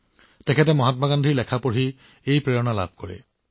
তেওঁ কয় যে মহাত্মা গান্ধীৰ প্ৰৱন্ধ পঢ়ি তেওঁ অনুপ্ৰাণিত হৈছিল